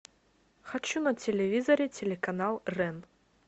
хочу на телевизоре телеканал рен